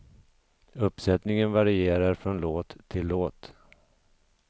Uppsättningen varierar från låt till låt.